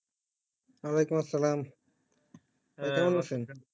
ওয়ালাইকুম সালাম কেমন আছেন?